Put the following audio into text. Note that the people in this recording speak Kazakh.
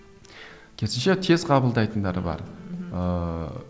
керісінше тез қабылдайтындары бар мхм ыыы